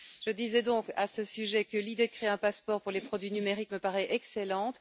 Je disais donc à ce sujet que l'idée de créer un passeport pour les produits numériques me paraît excellente.